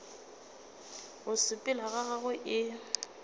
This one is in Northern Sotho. go sepela ga gagwe e